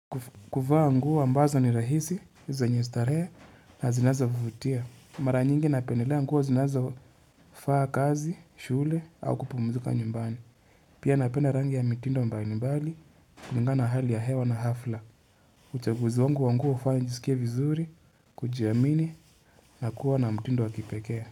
Kuvaa nguo ambazo ni rahisi zenye starehe na zinazo vutia. Mara nyingi napenelea nguo zinazo faa kazi, shule au kupumzika nyumbani. Pia napenda rangi ya mitindo mbali mbali, kulingana na hali ya hewa na hafla. Uchaguzi wangu wa nguo hufanya nijisikie vizuri, kujiamini na kuwa na mitindo wa kipekee.